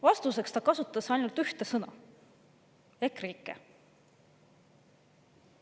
Vastustes ta kasutas ainult ühte sõna: EKREIKE.